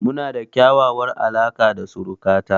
Mu na da ƙyaƙyawar alaka da suruka ta